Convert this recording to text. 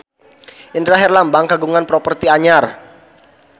Indra Herlambang kagungan properti anyar